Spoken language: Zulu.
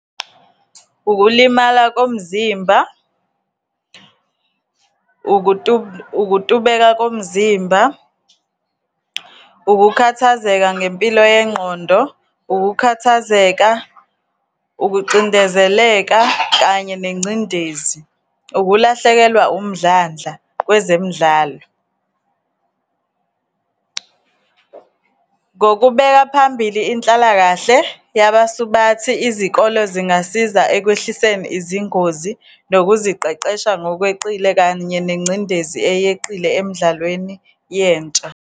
Ukulimala komzimba, ukutubeka komzimba, ukukhathazeka ngempilo yengqondo, ukukhathazeka, ukucindezeleka kanye nengcindezi, ukulahlekelwa umdlandla kwezemidlalo. Ngokubeka phambili inhlalakahle yabasubathi, izikole zingasiza ekwehlisweni izingozi, nokuziqeqesha ngokweqile, kanye nengcindezi eyeqile emdlalweni yentsha.